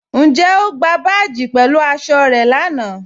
Ǹjẹ̀ o gbà báàjì pẹ̀lú aṣọ̀ rẹ̀ láńà?